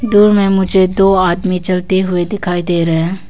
दूर में मुझे दो आदमी चलते हुए दिखाई दे रहे --